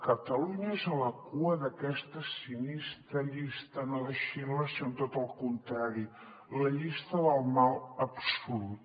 catalunya és a la cua d’aquesta sinistra llista no de schindler sinó de tot el contrari la llista del mal absolut